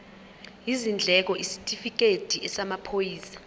izindleko isitifikedi samaphoyisa